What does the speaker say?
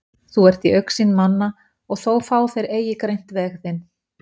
Þú ert í augsýn manna og þó fá þeir eigi greint veg þinn.